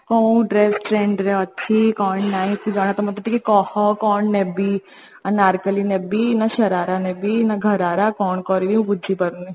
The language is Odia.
କୋଉ dress trend ରେ ଅଛି କଣ ନାଇଁ ତତେ ତ ଜଣା ତ ମତେ ଟିକେ କହ କଣ ନେବି ଅନାରକଲ୍ଲୀ ନେବି ନା ଶରାରା ନେବି ନା ଘରାରା କଣ କରିବି ମୁଁ ବୁଝି ପାରୁନି